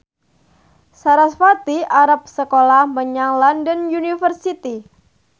sarasvati arep sekolah menyang London University